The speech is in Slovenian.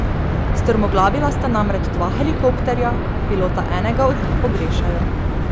Strmoglavila sta namreč dva helikopterja, pilota enega od njih pogrešajo.